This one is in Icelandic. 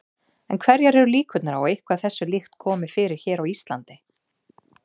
En hverjar eru líkurnar á að eitthvað þessu líkt komi fyrir hér á Íslandi?